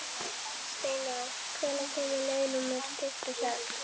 Hann gantaðist við mig á móti.